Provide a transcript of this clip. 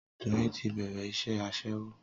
Doyin ti bẹ̀rẹ̀ iṣẹ́ Aṣẹ́wó